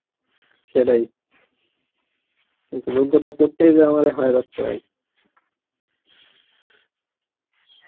সেটাই, কিন্তু যোগ্যতা করতেই যে আমার হয়ে যাচ্ছে ভাই